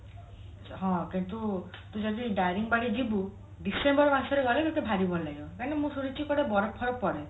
ହଁ କିନ୍ତୁ ତୁ ଯଦି ଦାରିଙ୍ଗିବାଡି ଯିବୁ December ମାସରେ ଗଲେ ତତେ ଭାରି ଭଲ ଲାଗିବ କାହିଁ କି ନା ମୁଁ ଶୁଣିଛି କୁଆଡେ ବରଫ ଫରଫ ପଡେ